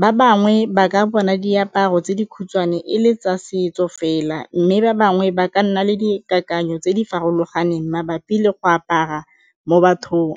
ba bangwe ba ka bona diaparo tse dikhutshwane e le tsa setso fela mme ba bangwe ba ka nna le dikakanyo tse di farologaneng mabapi le go apara mo bathong.